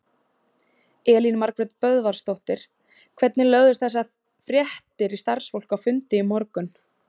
Elín Margrét Böðvarsdóttir: Hvernig lögðust þessar fréttir í starfsfólk á fundi í morgun?